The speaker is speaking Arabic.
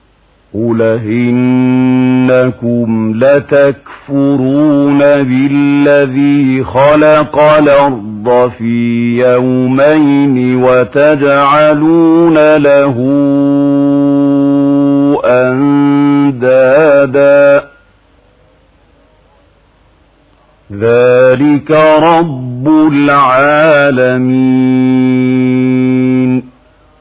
۞ قُلْ أَئِنَّكُمْ لَتَكْفُرُونَ بِالَّذِي خَلَقَ الْأَرْضَ فِي يَوْمَيْنِ وَتَجْعَلُونَ لَهُ أَندَادًا ۚ ذَٰلِكَ رَبُّ الْعَالَمِينَ